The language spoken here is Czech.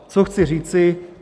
Co chci říci.